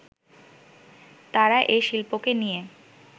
তারা এ শিল্পকে নিয়ে